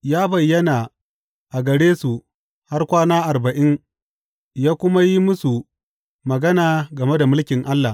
Ya bayyana a gare su har kwana arba’in ya kuma yi musu magana game da mulkin Allah.